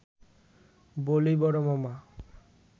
বলি–বড় মামা